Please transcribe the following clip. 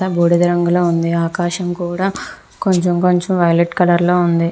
బూడిద రంగులో ఉంది ఆకాశం కూడా కొంచెం కొంచం వైలెట్ కలర్ లో ఉంది.